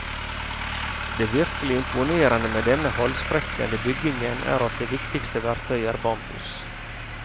Det virkelig imponerende med denne halsbrekkende byggingen er at det viktigste verktøyet er bambus.